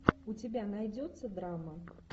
у тебя найдется драма